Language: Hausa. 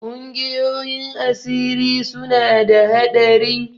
Ƙungiyoyin asiri suna da haɗari.